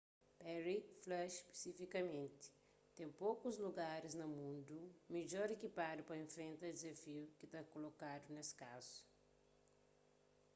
perry fla spisifikamenti ten pokus lugaris na mundu midjor ikipadu pa infrenta dizafiu ki ta kolokadu nes kazu